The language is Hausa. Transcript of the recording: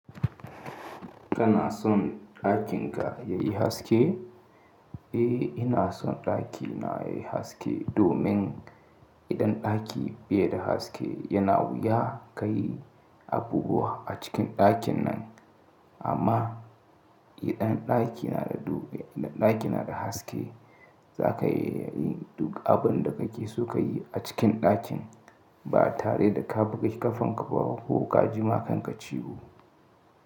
Kana son ɗakin ka yayi haske? Eh ina son ɗakina yayi haske domin idan ɗaki bai da haske yana wuya ka yi abubuwa a cikin ɗakin nan. Amma idan ɗaki na da, ɗaki na da haske za ka iya yi duk abin da kake so ka yi a cikin ɗakin ba tare da ka buga ƙafanka ba ko ka jima kanka ciwo.